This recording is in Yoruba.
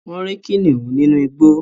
wón rí kìnìún ninu igbó